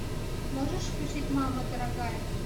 можешь включить мама дорогая